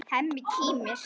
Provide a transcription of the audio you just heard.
Hemmi kímir.